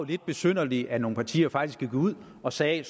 lidt besynderligt at nogle partier faktisk gik ud og sagde